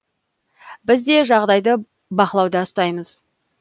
біз де жағдайды бақылауда ұстаймыз